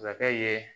Sakɛ ye